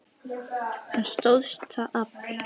Hann stóðst það afl.